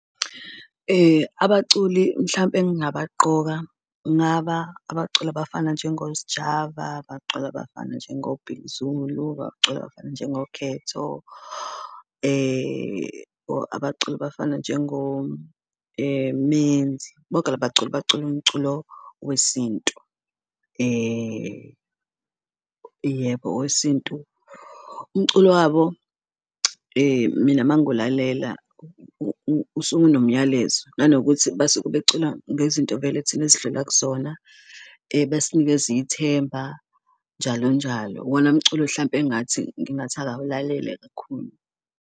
Abaculi mhlampe engabaqoka kungaba abaculi abafana njengoSjava, abacululi abafana njengo-Big Zulu, abaculi abafana njengoKhetho, or abaculi abafana njengo Menzi, bonke la baculi bacula umculo wesintu, yebo wesintu. Umculo wabo mina uma ngiwulalela usuke unomyalezo nanokuthi basuke becula ngezinto vele thina esidlula kuzona, besinikeza ithemba, njalo njalo, iwona mculo hlampe engathi ngingathi akawulalele kakhulu.